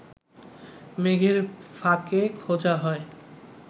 মেঘের ফাঁকে খোঁজা হয়